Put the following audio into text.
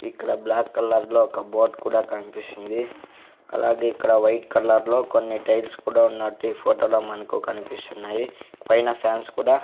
ఇక్కడ బ్లాక్ కలర్లో ఒక బోట్ కూడా కనిపిస్తుంది అలాగే ఇక్కడ వైట్ కలర్లో కొన్ని టైల్స్ కూడా ఉన్నట్టు ఈ ఫోటోలో మనకు కనిపిస్తున్నాయి పైన ఫ్యాన్స్ కూడా--